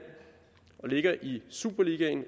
og ligger i superligaen